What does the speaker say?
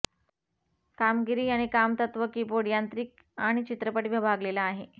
कामगिरी आणि काम तत्त्व कीबोर्ड यांत्रिक आणि चित्रपट विभागलेला आहे